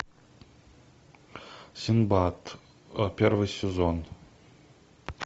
синдбад первый сезон